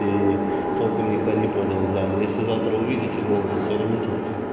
и толком никто не понял в зале если завтра увидите голову сверните